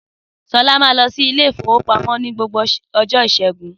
Sọlá máa ń lọ sí Ilé-ìfowópamó ní gbogbo ọjọ́ ìṣẹ́gun.